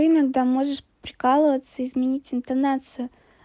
ты иногда можешь прикалываться изменить интонацию